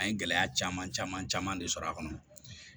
An ye gɛlɛya caman caman caman de sɔrɔ a kɔnɔ